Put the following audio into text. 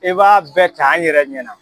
I b'a bɛɛ t'an yɛrɛ ɲɛna